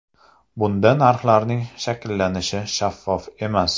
Bunda narxlarning shakllanishi shaffof emas.